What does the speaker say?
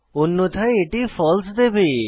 অন্যথায় এটি ফালসে দেবে